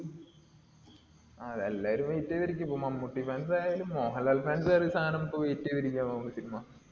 ആ അതെ. എല്ലാരും wait ചെയ്ത് ഇരിക്കയാ. ഇപ്പൊ മമ്മൂട്ടി fans ആയാലും മോഹൻലാൽ fans ആയാലും ഈ സാനപ്പോ wait ചെയ്ത് ഇരിക്കയാണെന്ന് തോന്നുന്നു ഈ cinema.